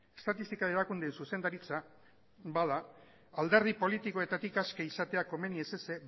estatistika erakundeen zuzendaritza bada alderdi politikoetatik aske izatea komeni ez ezik